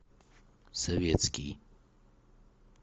советский